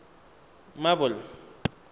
marble